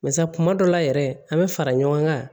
Barisa kuma dɔ la yɛrɛ an bɛ fara ɲɔgɔn kan